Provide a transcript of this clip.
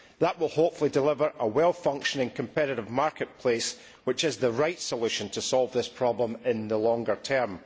That will hopefully deliver a well functioning competitive marketplace, which is the right solution to solve this problem in the longer term.